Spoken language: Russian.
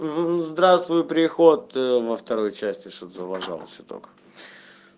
здравствуй приход во второй части что-то залажал чуток